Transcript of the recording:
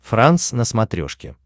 франс на смотрешке